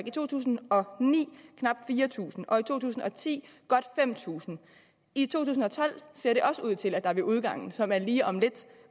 i to tusind og ni knap fire tusind og i to tusind og ti godt fem tusind i to tusind og tolv ser det også ud til at der ved udgangen som er lige om lidt